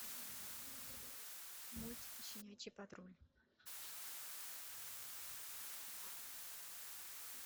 мультики щенячий патруль